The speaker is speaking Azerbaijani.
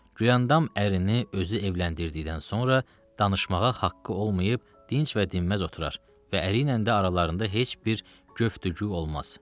Güləndam ərini özü evləndirdikdən sonra danışmağa haqqı olmayıb, dinc və dinməz oturur və əriylə də aralarında heç bir göftügü olmaz.